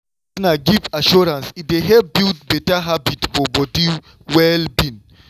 wen partner give assurance e dey help build better habit for body well-being.